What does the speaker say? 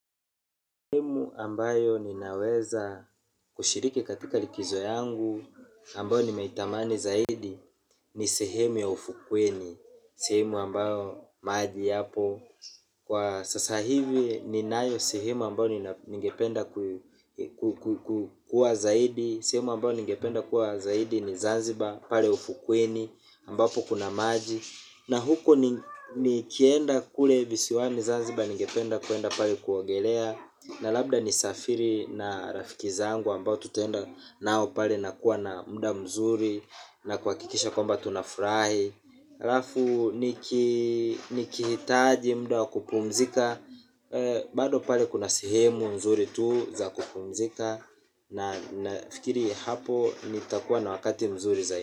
Sehemu ambayo ninaweza kushiriki katika likizo yangu ambayo nimeitamani zaidi ni sehemu ya ufukweni, sehemu ambayo maji yapo. Kwa sasa hivi ninayo sehemu ambayo ningependa kuwa zaidi, sehemu ambayo ningependa kuwa zaidi ni Zanzibar pale ufukweni ambapo kuna maji. Na huko ni nikienda kule visiwani zanziba ningependa kwenda pale kuogelea na labda nisafiri na rafiki zangu ambao tutaenda nao pale na kuwa na muda mzuri na kuhakikisha kwamba tunafurahi halafu nikihitaji muda wa kupumzika. Bado pale kuna sehemu nzuri tu za kupumzika na nafikiri hapo nitakuwa na wakati mzuri zaidi.